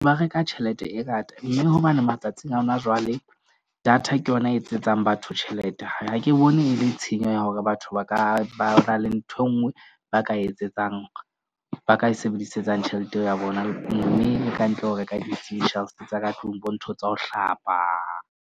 Ba reka tjhelete e ngata, mme hobane matsatsing a hona jwale, data ke yona e etsetsang batho tjhelete. Ha ke bone e le tshenyo ya hore batho ba ka ba na le nthwe nngwe ba ka etsetsang ba ka e sebedisetsang tjhelete eo ya bona. Mme e ka ntle ho reka di tsa ka tlung bo ntho tsa ho hlapa.